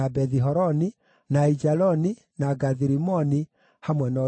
na Aijaloni, na Gathi-Rimoni, hamwe na ũrĩithio wamo.